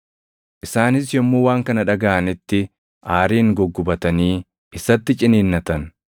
Isaanis yommuu waan kana dhagaʼanitti aariin guggubatanii isatti ciniinnatan.